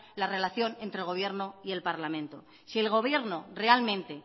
la relación entre el gobierno y el parlamento si el gobierno realmente